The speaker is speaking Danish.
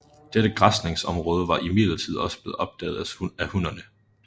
Dette græsningsområde var imidlertid også blevet opdaget af hunnerne